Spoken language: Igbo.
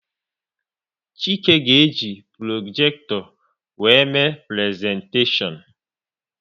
Chike ga-eji projekto wéré mee prezentashion